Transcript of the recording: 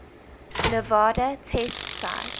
nevada test site